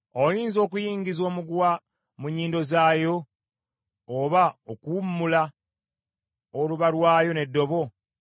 Oyinza okuyingiza omuguwa mu nnyindo zaayo, oba okuwummula oluba lwayo n’eddobo?